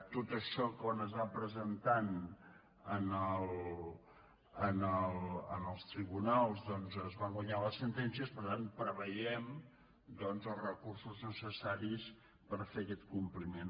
tot això quan es va presentant als tribunals doncs es van guanyant les sentències per tant preveiem els recursos necessaris per fer aquest compliment